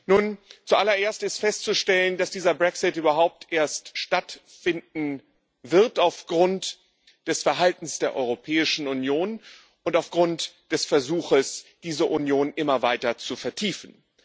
Nun, zuallererst ist festzustellen, dass dieser Brexit überhaupt erst stattfinden wird aufgrund des Verhaltens der Europäischen Union und aufgrund des Versuchs, diese Union immer weiter zu vertiefen.